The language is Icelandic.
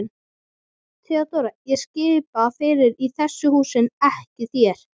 THEODÓRA: Ég skipa fyrir í þessu húsi en ekki þér.